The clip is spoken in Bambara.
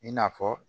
I n'a fɔ